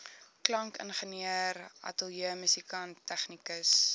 klankingenieur ateljeemusikant tegnikus